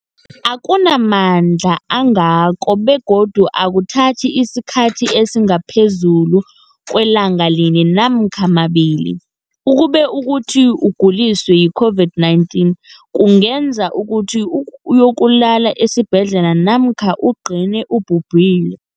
akuna mandla angako begodu akuthathi isikhathi esingaphezulu kwelanga linye namkha mabili, ukube kanti ukuguliswa yi-COVID-19 kungenza ukuthi uyokulala esibhedlela namkha ugcine ubhubhile.